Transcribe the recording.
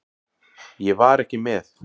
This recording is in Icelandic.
Ég var ekki með.